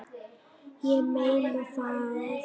Ég meina það.